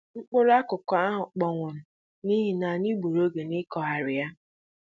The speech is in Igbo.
Mkpụrụ akụkụ ahụ kpọnwụrụ n'ihi na anyị gbùrù oge na-ịkụghari ya